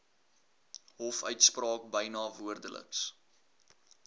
hofuitspraak byna woordeliks